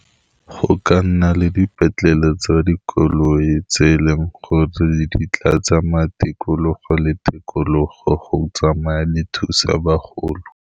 Go ka nna le dipetlele tsa dikoloi tse e leng gore di tla tsamaya tikologo le tikologo go tsamaya di thusa bagolo.